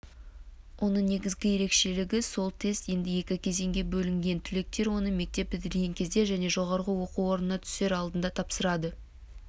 оның негізгі ерекшелігі сол тест енді екі кезеңге бөлінген түлектер оны мектеп бітірген кезде және жоғары оқу орнына түсер алдында тапсырады